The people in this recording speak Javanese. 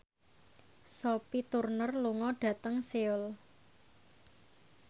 Sophie Turner lunga dhateng Seoul